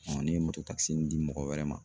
ne ye di mɔgɔ wɛrɛ ma.